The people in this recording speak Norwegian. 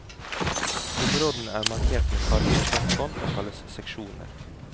Områdene er markert med fargede plastbånd og kalles seksjoner.